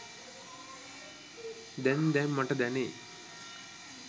දැන් දැන් මට දැනේ